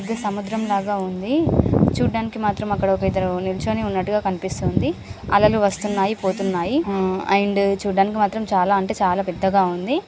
ఇది సముద్రం లాగా ఉంది. చూడ్డానికి మాత్రం అక్కడ ఒక ఇద్దరు నించొని ఉన్నట్టుగా కనిపిస్తుంది. అలలు వస్తున్నాయి పోతున్నాయి అండ్ చూడ్డానికి మాత్రం చాలా అంటే చాలా పెద్దగా ఉంది.